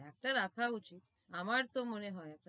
একটা রাখা উচিত, আমার তো মনে হয়,